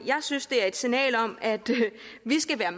synes det er et signal om at vi skal være